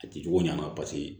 A ti jugu ɲ'a ma paseke